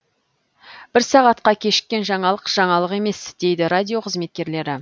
бір сағатка кешіккен жаңалық жаңалық емес дейді радио қызметкерлері